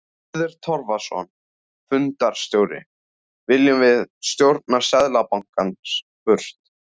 Hörður Torfason, fundarstjóri: Viljum við stjórn Seðlabankans burt?